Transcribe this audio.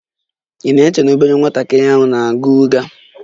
Ị na-eche na obere nwatakịrị na-agha ụgha?